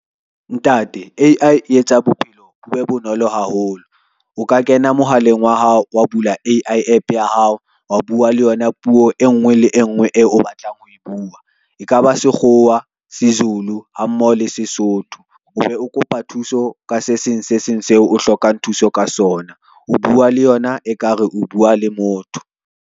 Ntate, A_I e etsa bophelo be bonolo haholo. O ka kena mohaleng wa hao wa bula A_I APP ya hao, wa bua le yona puo e ngwe le e ngwe e o batlang ho e bua. E ka ba Sekgowa, seZulu ha mmoho le Sesotho, o be o kopa thuso ka se seng se seng seo o hlokang thuso ka sona. O bua le yona ekare o bua le motho.